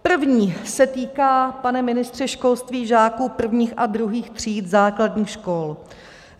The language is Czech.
První se týká, pane ministře školství, žáků prvních a druhých tříd základních škol.